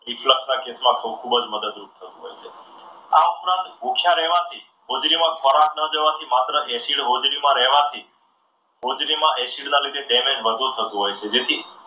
reflect માં ખૂબ જ મદદરૂપ થતા હોય છે. આ ઉપરાંત હું ભૂખ્યા રહેવાથી હોજરીમાં ખોરાક ન જવાથી માત્ર acid હોજરીમાં રહેવાથી હોજરીમાં acid ના લીધે damage વધુ થતું હોય છે જેથી